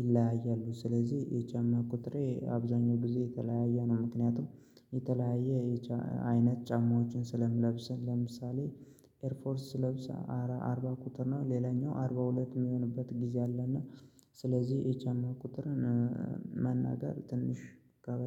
ይለያያሉ። ስለዚህ የጫማ ቁጥሬ አብዛኛው ጊዜ የተለያየ ነው። ምክንያቱም የተለያየ አይነት ጫማዎችን ስለምለብስ ለምሳሌ ኤርፎርስ ስለብሰ አርባ ቁጥር ነው። ሌላኛው አርባ ሁለት የሚሆንበት ጊዜ አለና ስለዚህ የጫማ ቁጥርን መናገር ትንሽ ከበድ